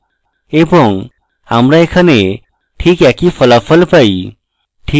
এবং আমরা এখানে ঠিক একই ফলাফল পাই